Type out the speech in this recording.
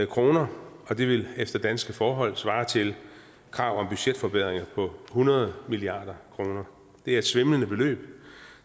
kr og det ville efter danske forhold svare til krav om budgetforbedringer på hundrede milliard kroner det er et svimlende beløb